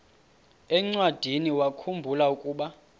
encwadiniwakhu mbula ukuba